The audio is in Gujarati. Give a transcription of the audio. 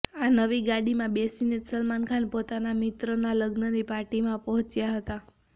આ નવી ગાડીમાં બેસીને જ સલમાન ખાન પોતાના મિત્ર ના લગ્નની પાર્ટીમાં પહોંચ્યા હતા